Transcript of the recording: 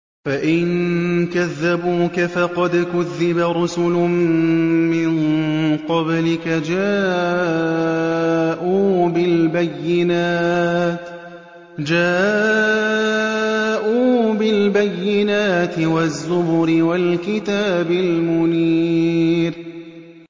فَإِن كَذَّبُوكَ فَقَدْ كُذِّبَ رُسُلٌ مِّن قَبْلِكَ جَاءُوا بِالْبَيِّنَاتِ وَالزُّبُرِ وَالْكِتَابِ الْمُنِيرِ